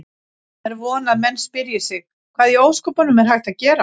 Er von að menn spyrji sig: Hvað í ósköpunum er hægt að gera?